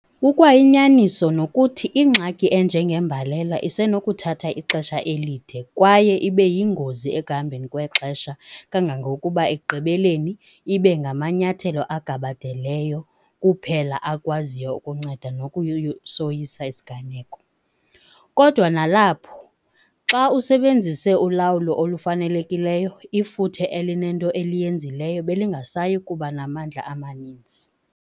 Kukwayinyaniso nokuthi ingxaki enjengembalela isenokuthatha ixesha elide kwaye ibe yingozi ekuhambeni kwexesha kangangokuba ekugqibeleni ibe ngamanyathelo agabadeleyo kuphela akwaziyo ukunceda ngokusoyisa isiganeko. Kodwa nalapho, xa ubusebenzise ulawulo olufanelekileyo ifuthe elinento eliyenzileyo belingasayi kuba namandla amaninzi.